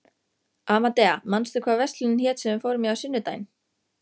Amadea, manstu hvað verslunin hét sem við fórum í á sunnudaginn?